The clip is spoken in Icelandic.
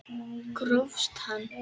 Grófst hann!